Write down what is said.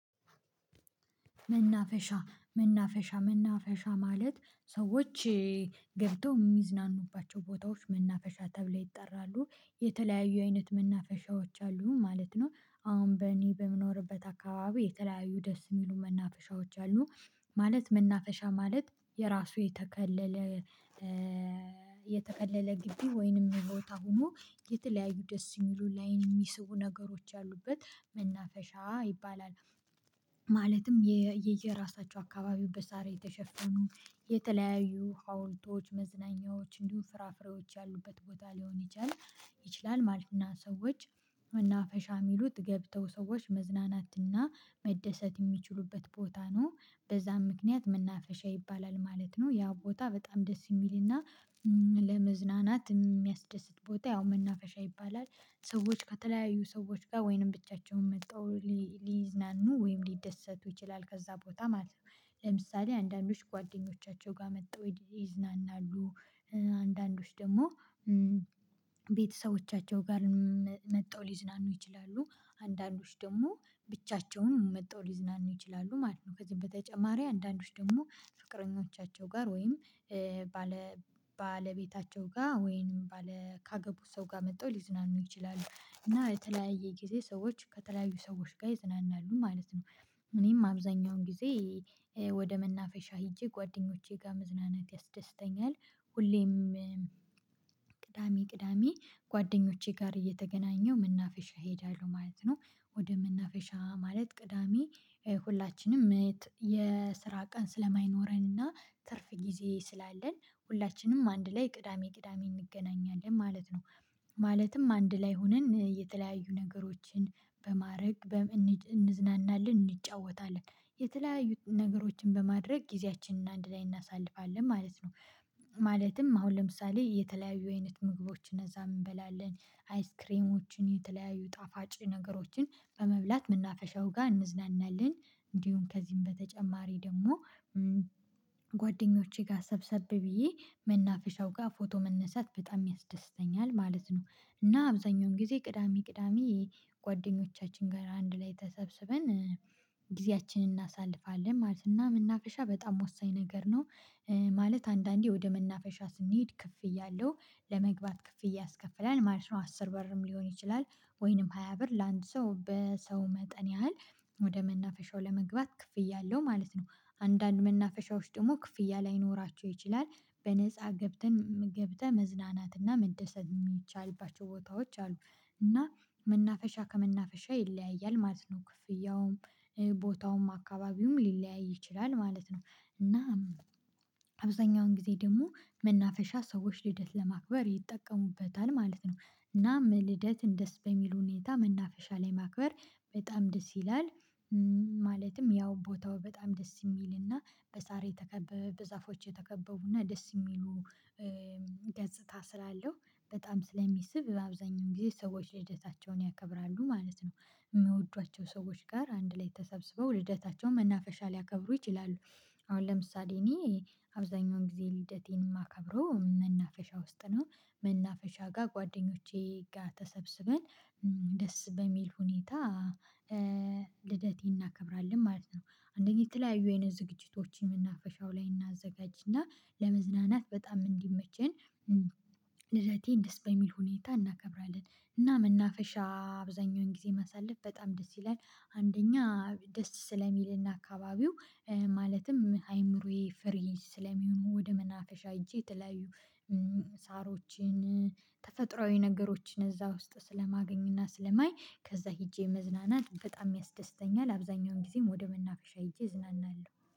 መናፈሻ መናፈሻ መናፈሻ ማለት ሰዎች ገብተው የሚዝናኑባቸው ቦታዎች መናፈሻ ተብለው ይጠራሉ የተለያዩ አይነት መናፈሻዎች አሉ ማለት ነው። አሁን በእኔ በምኖርበት አካባቢ የተለያዩ ደስ የሚሉ መናፈሻዎች አሉ። ማለት መናፈሻ ማለት የራሱ የተከለለ የተከለለ ግቢ ወይንም ቦታ ሆኖ የተለያዩ ደስ የሚሉ ላይን የሚስቡ ነገሮች ያሉበት መናፈሻ ይባላል። ማለትም የየራሳቸው አካባቢው በሳር የተሸፈኑ የተለያዩ ሀውልቶች መዝናኛዎች እንዲሁም ፍራፍሬዎች ያሉበት ቦታ ሊሆን ይችላል ይችላል ማለት ነው። ሰዎች መናፈሻ የሚሉት ገብተው ሰዎች መዝናናትና መደሰት የሚችሉበት ቦታ ነው። በዛም ምክንያት መናፈሻ ይባላል ማለት ነው ያ ቦታ በጣም ደስ የሚልና ለመዝናናት የሚያስደስት ቦታ ያው መናፈሻ ይባላል። ሰዎች ከተለያዩ ሰዎች ጋር ወይንም ብቻቸውን መጥተው ሊዝናኑ ወይም ሊደሰቱ ይችላል ከዛ ቦታ ማለት ነው። ለምሳሌ አንዳንዶች ጓደኞቻቸው ጋር መጠው ይዝናናሉ። አንዳንዶች ደግሞ ቤተሰቦቻቸው ጋር መጠው ሊዝናኑ ይችላሉ አንዳንዶች ደግሞ ብቻቸውን መጥተው ሊዝናኑ ይችላሉ ማለት ነው። ከዚህም በተጨማሪ አንዳንዶች ደግሞ ፍቅረኞቻቸው ጋር ወይም ባለ ባለቤታቸው ጋር ወይንም ባለ ካገቡት ሰው ጋር መጠው ሊዝናኑ ይችላሉ እና የተለያየ ጊዜ ሰዎች ከተለያዩ ሰዎች ጋር ይዝናናሉ ማለት ነው። እኔም አብዛኛውን ጊዜ ወደ መናፈሻ ሄጄ ጓደኞቼ ጋር መዝናናት ያስደስተኛል። ሁሌም ቅዳሜ ቅዳሜ ጓደኞቼ ጋር እየተገናኘው መናፈሻ እሄዳለሁ ማለት ነው። ወደ መናፈሻ ማለት ቅዳሜ ሁላችንም የስራ ቀን ስለማይኖረን እና ትርፍ ጊዜ ስላለን ሁላችንም አንድ ላይ ቅዳሜ ቅዳሜ እንገናኛለን ማለት ነው። ማለትም አንድ ላይ ሆነን የተለያዩ ነገሮችን በማረግ እንዝናናለን እንጫወታለን የተለያዩ ነገሮችን በማድረግ ጊዜያችንን አንድ ላይ እናሳልፋለን ማለት ነው። ማለትም አሁን ለምሳሌ የተለያዩ አይነት ምግቦችን እነዛ እንበላለን አይስክሬሞችን የተለያዩ ጣፋጭ ነገሮችን በመብላት መናፈሻው ጋር እንዝናናለን። እንዲሁም ከዚህም በተጨማሪ ደግሞ ጓደኞቼ ጋር ሰብሰብ ብዬ መናፍሻው ጋር ፎቶ መነሳት በጣም ያስደስተኛል ማለት ነው። እና አብዛኛውን ጊዜ ቅዳሜ ቅዳሜ ጓደኞቻችን ጋር አንድ ላይ ተሰብስበን ጊዜያችንን እናሳልፋለን ማለት እና መናፈሻ በጣም ወሳኝ ነገር ነው። ማለት አንዳንዴ ወደ መናፈሻ ስንሄድ ክፍያ አለው ለመግባት ክፍያ ያስከፍላል ማለት ነው አስር ብርም ሊሆን ይችላል። ወይንም ሃያ ብር ለአንድ ሰው በሰው መጠን ያህል ወደ መናፈሻው ለመግባት ክፍያ አለው ማለት ነው። አንዳንድ መናፈሻዎች ደግሞ ክፍያ ላይኖራቸው ይችላል በነፃ ገብተን ገብተን መዝናናት እና መደሰት የሚቻልባቸው ቦታዎች አሉ። እና መናፈሻ ከመናፈሻ ይለያያል ማለት ነው ክፍያውም ቦታውም አካባቢውም ሊለያይ ይችላል ማለት ነው። እና አብዛኛውን ጊዜ ደግሞ መናፈሻ ሰዎች ልደት ለማክበር ይጠቀሙበታል ማለት ነው። እናም ልደት ደስ በሚል ሁኔታ መናፈሻ ላይ ማክበር በጣም ደስ ይላል። ማለትም ያው ቦታው በጣም ደስ የሚልና በሳር የተከበበ በዛፎች የተከበቡና ደስ የሚሉ ገጽታ ስላለው በጣም ስለሚስብ በአብዛኛው ጊዜ ሰዎች ልደታቸውን ያከብራሉ ማለት ነው። የሚወዷቸው ሰዎች ጋር አንድ ላይ ተሰብስበው ልደታቸውን መናፈሻ ሊያከብሩ ይችላሉ። አሁን ለምሳሌ እኔ አብዛኛውን ጊዜ ልደቴን የማከብረው መናፈሻ ውስጥ ነው። መናፈሻ ጋር ጓደኞቼ ጋር ተሰብስበን ደስ በሚል ሁኔታ ልደቴን እናከብራለን ማለት ነው። አንደኛ የተለያዩ አይነት ዝግጅቶችን ምናፈሻው ላይ እናዘጋጅና ለመዝናናት በጣም እንዲመቸን ልደቴን ደስ በሚል ሁኔታ እናከብራለን። እና መናፈሻ አብዛኛውን ጊዜ ማሳለፍ በጣም ደስ ይላል። አንደኛ ደስ ስለሚልና አካባቢው ማለትም አይምሮዬ ፍሪ ስለሚሆን ወደ መናፈሻ ሄጄ የተለያዩ ሳሮችን ተፈጥሮአዊ ነገሮችን እዛ ውስጥ ስለማገኝና ስለማይ ከዛ ሄጄ መዝናናት በጣም ያስደስተኛል አብዛኛውን ጊዜም ወደ መናፈሻ ሄጄ እዝናናለሁ